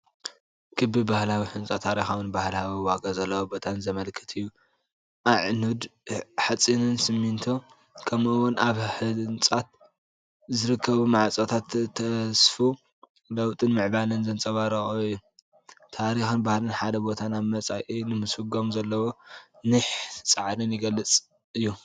ክቢ ባህላዊ ህንጻ ታሪኻውን ባህላውን ዋጋ ዘለዎ ቦታ ዘመልክት እዩ። ኣዕኑድ ሓጺንን ሲሚንቶን ከምኡ’ውን ኣብ ህንጸት ዝርከቡ ማዕጾታት፡ ተስፋ ለውጥን ምዕባለን ዘንጸባርቑ እዮም። ታሪኽን ባህልን ሓደ ቦታ ናብ መጻኢ ንምስጓም ዘለዎ ኒሕን ጻዕርን ዝገልጽ እዩ።